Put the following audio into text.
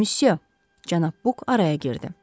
Müsü, cənab Buk araya girdi.